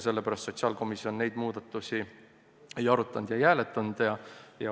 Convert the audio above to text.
Sellepärast sotsiaalkomisjon neid muudatusi ei arutanud ega hääletanud.